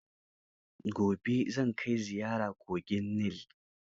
Gobe zan kai ziyara kogin Nil.